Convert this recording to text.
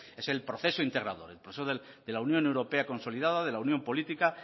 es el proceso integrador el proceso de la unión europea consolidada de la unión política